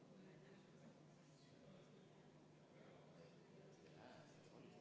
V a h e a e g